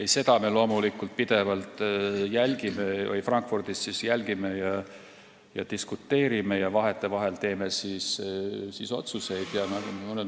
Ei, seda me loomulikult Frankfurdis pidevalt jälgime, diskuteerime selle üle ja vahetevahel teeme otsuseid.